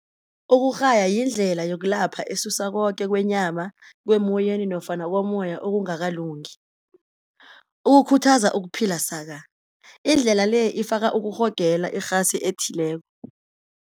Ukurhaya yindlela yokulapha esusa koke kwenyama, kwemoyeni nofana komoya okungakalungi ukukhuthaza ukuphila saka indlela le ifaka ukurhogela irhasi ethileko.